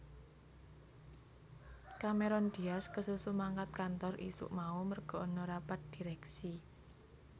Cameron Diaz kesusu mangkat kantor isuk mau merga ana rapat direksi